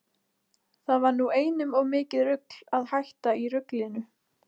Það var nú einum of mikið rugl að hætta í ruglinu.